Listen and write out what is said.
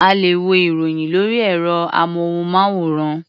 A lè wo ìròyìn lórí ẹ̀rọ-amóhùnmáwòrán.